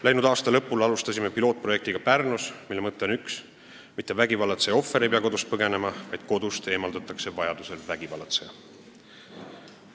Läinud aasta lõpul alustasime Pärnus pilootprojekti, mille mõte on üks: mitte vägivallatseja ohver ei pea kodust põgenema, vaid vajadusel eemaldatakse kodust vägivallatseja.